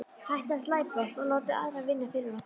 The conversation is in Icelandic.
Hættið að slæpast og láta aðra vinna fyrir ykkur.